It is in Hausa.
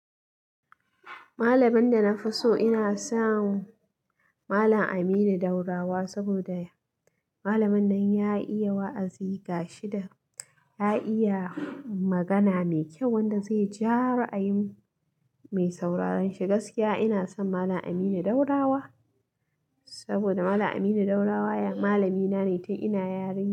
Malamin da na fi so ina son Malam Aminu Daurawa saboda malamin nan ya iya wa'azi, gashi da ya iya magana mai kyau wanda zai ja ra'ayi mai sauraron shi. Gaskiya ina son Malam Aminu Daurawa saboda Malam Aminu Daurawa malami na ne tun ina yarinya.